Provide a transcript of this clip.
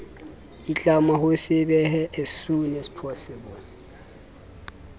itlama ho se behe saps